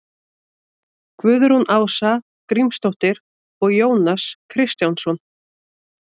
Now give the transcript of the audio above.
Guðrún Ása Grímsdóttir og Jónas Kristjánsson.